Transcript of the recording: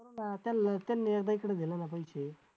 त्यांनी एकदा इकडं दिलं ना पैसे